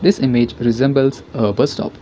This image resembles a bus stop.